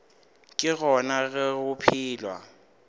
ke gona ge go phelwa